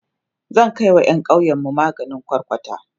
zan Kai wa ƴan ƙauyenmu maganin kwarkwata